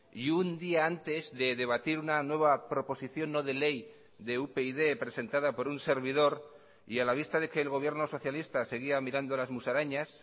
y un día antes de debatir una nueva proposición no de ley de upyd presentada por un servidor y a la vista de que el gobierno socialista seguía mirando las musarañas